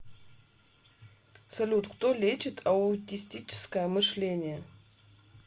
салют кто лечит аутистическое мышление